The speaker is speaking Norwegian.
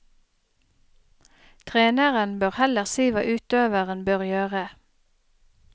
Treneren bør heller si hva utøveren bør gjøre.